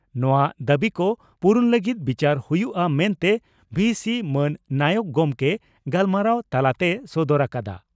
ᱱᱚᱣᱟ ᱫᱟᱵᱤᱠᱚ ᱯᱩᱨᱩᱱ ᱞᱟᱹᱜᱤᱫ ᱵᱤᱪᱟᱹᱨ ᱦᱩᱭᱩᱜᱼᱟ ᱢᱮᱱᱛᱮ ᱵᱦᱤᱹᱥᱤ ᱢᱟᱱ ᱱᱟᱭᱚᱠ ᱜᱚᱢᱠᱮ ᱜᱟᱞᱢᱟᱨᱟᱣ ᱛᱟᱞᱟ ᱛᱮᱭ ᱥᱚᱫᱚᱨ ᱟᱠᱟᱫᱼᱟ ᱾